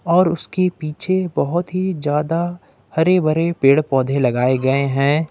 और उसके पीछे बहोत ही ज्यादा हरे भरे पेड़ पौधे लगाए गए हैं।